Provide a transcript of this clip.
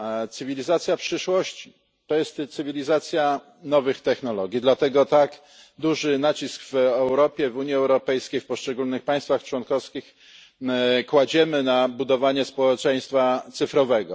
Cywilizacja przyszłości jest cywilizacją nowych technologii, dlatego tak duży nacisk w Europie, w Unii Europejskiej, w poszczególnych państwach członkowskich kładziemy na budowanie społeczeństwa cyfrowego.